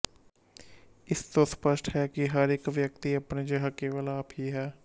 ਇਸ ਤੋਂ ਸਪਸ਼ਟ ਹੈ ਕਿ ਹਰ ਇੱਕ ਵਿਅਕਤੀ ਆਪਣੇ ਜਿਹਾ ਕੇਵਲ ਆਪ ਹੀ ਹੈ